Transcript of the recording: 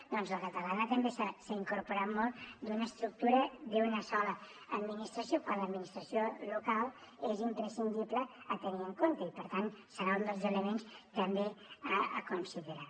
doncs la catalana també ha incorporat molt una estructura d’una sola administració quan l’administració local és imprescindible tenir la en compte i per tant serà un dels elements també a considerar